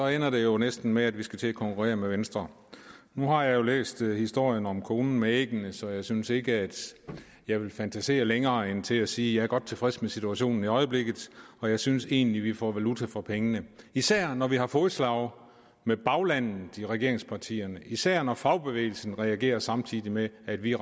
ender det jo næsten med at vi skal til at konkurrere med venstre nu har jeg jo læst historien om konen med æggene så jeg synes ikke jeg vil fantasere længere end til at sige er godt tilfreds med situationen i øjeblikket og jeg synes egentlig vi får valuta for pengene især når vi har fodslag med baglandet i regeringspartierne og især når fagbevægelsen reagerer samtidig med at vi